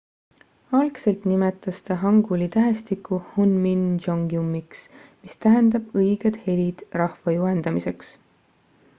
algselt nimetas ta hanguli tähestikku hunmin jeongeumiks mis tähendab õiged helid rahva juhendamiseks